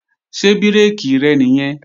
Ṣé bírèkì rẹ̀ nìyẹn?